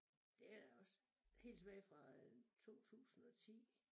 Det er også helt tilbage fra øh 2010